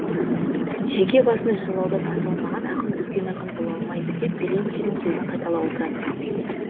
жеке басын жырлаудан аса алмаған ақын үлкен ақын бола алмайды деп белинскийдің сөзін қайталап отыратын